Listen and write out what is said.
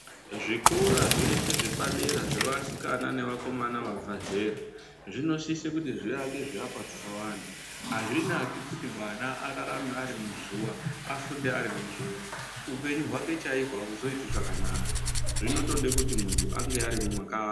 Zvikora zveshe zvepadera zvevakomana nevasikana vabva zera zvinosisa kuti zviake zvivakwa zvakawanda azvinaki kuti mwana ararame ari muzuwa afunde ari muzuwa upenyu hwake chaihwo auzoiti zvakanaka zvinotoda kuti munthu ange ari mwaka...